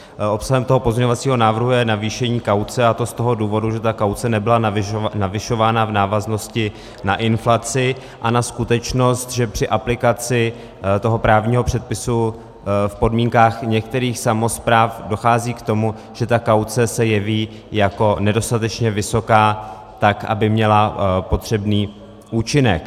Obsahem toho pozměňovacího návrhu je navýšení kauce, a to z toho důvodu, že ta kauce nebyla navyšována v návaznosti na inflaci a na skutečnost, že při aplikaci toho právního předpisu v podmínkách některých samospráv dochází k tomu, že ta kauce se jeví jako nedostatečně vysoká, tak aby měla potřebný účinek.